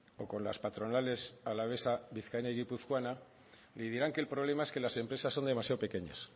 o con las patronales alavesa vizcaína y guipuzcoana y dirán que el problema es que las empresas son demasiado pequeñas